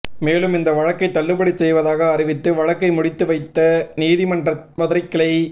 மேலும் இந்த வழக்கை தள்ளுபடி செய்வதாக அறிவித்து வழக்கை முடித்து வைத்து உயர்நீதிமன்ற மதுரை கிளை